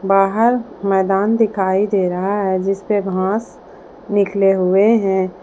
बाहर मैदान दिखाई दे रहा है जिसपे घास निकले हुए है।